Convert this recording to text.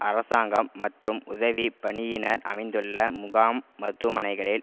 அரசாங்கம் மற்றும் உதவி பணியினர் அமைத்துள்ள முகாம் மருத்துவமனைகளில்